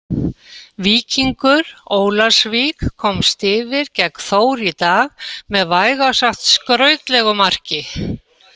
Víkingur Ólafsvík komst yfir gegn Þór í dag með vægast sagt skrautlegu marki.